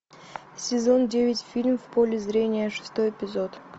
сезон девять фильм в поле зрения шестой эпизод